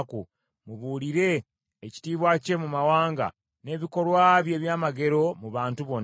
Mubuulire ekitiibwa kye mu mawanga, n’ebikolwa bye ebyamagero mu bantu bonna.